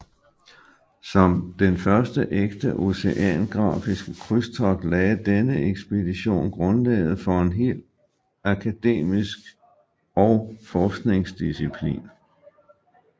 Som den første ægte oceanografiske krydstogt lagde denne ekspedition grundlaget for en hel akademisk og forskningsdisciplin